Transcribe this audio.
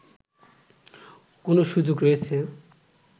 কোন সুযোগ রয়েছে